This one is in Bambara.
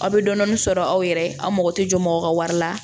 Aw bɛ dɔɔnin sɔrɔ aw yɛrɛ ye aw mago tɛ jɔ mɔgɔ ka wari la